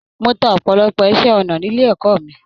Mó tá ọpọlọpọ iṣẹ ọnà nílé ẹ̀kọ́ mí.